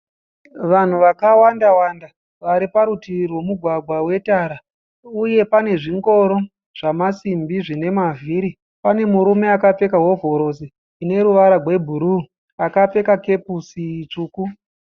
Vanhu vaka wanda- wanda vari parutivi rwemugwagwa we tara. Uye pane zvingoro zvamasimbi zvine mavhiri. Pane murume akapfeka hovhorosi ine ruvara gwe bhuruu akapfeka kepusi tsvuku.